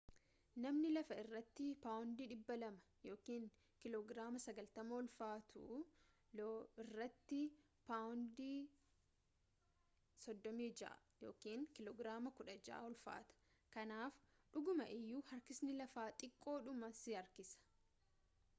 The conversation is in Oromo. namni lafa irratti paawondii 200 kiiloo giraama 90 ulfaatu lo irratti paawundii 36 kiiloo giraamii 16 ulfaata. kanaaf dhuguma iyyuu harkisni lafaa xiqqoodhuma si harkisa